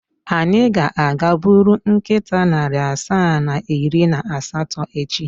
Anyị ga-aga buru nkịta narị asaa na iri na asatọ echi.